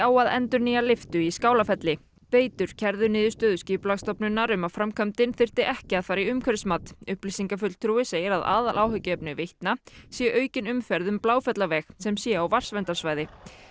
að endurnýja lyftu í Skálafelli veitur kærðu niðurstöðu Skipulagsstofnunar um að framkvæmdin þyrfti ekki að fara í umhverfismat upplýsingafulltrúi segir að aðaláhyggjuefni Veitna sé aukin umferð um Bláfjallaveg sem sé á vatnsverndarsvæði